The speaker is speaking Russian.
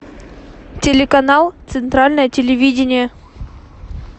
телеканал центральное телевидение